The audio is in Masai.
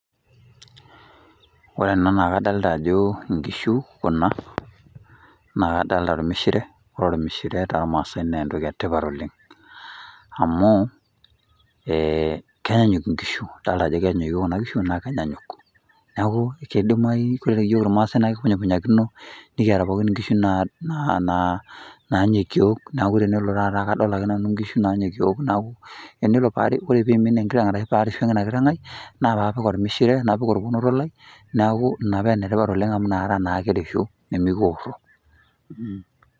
Ore ena naa kadolta ajo nkishu kuna naa kadolta ormishire ore ormishire tormaasai naa entoki e tipat oleng' amu ee kenyanyuk nkishu idolta ajo kenyokio kuna kishu naake kenyanyuk. Neeku kidimayu kore iyiok irmaasai naa kikunykunyakino nekiata pooki nkishu naa naa naanyokio neeku tenelo taata kadolta ake nanu nkishu nanyokio, neeku enelo paaku enimin enkiteng' arashu parishaa ina kiteng' ai naa paapik ormishire, napik orponoto lai, neeku ina pee ene tipat oleng' amu inakata naake kirishu nemekioro.